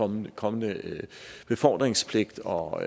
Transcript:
en kommende befordringspligt og